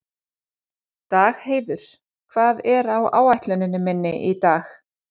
Dagheiður, hvað er á áætluninni minni í dag?